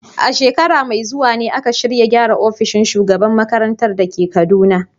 A shekara mai zuwa ne aka shirya gyara ofishin shugaban makarantar da ke Kaduna.